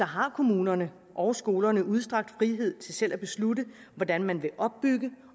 har kommunerne og skolerne udstrakt frihed til selv at beslutte hvordan man vil opbygge